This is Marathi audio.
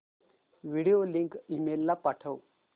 व्हिडिओ लिंक ईमेल ला पाठव